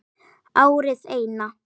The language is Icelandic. Árið Eina.